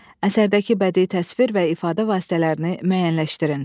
Əsərdəki bədii təsvir və ifadə vasitələrini müəyyənləşdirin.